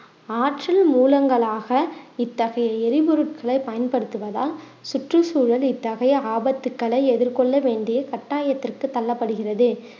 ஆற்றில் மூலங்களாக இத்தகைய எரிபொருட்களை பயன்படுத்துவதால் சுற்றுச்சூழல் இத்தகைய ஆபத்துக்களை எதிர்கொள்ள வேண்டிய கட்டாயத்திற்கு தள்ளப்படுகிறது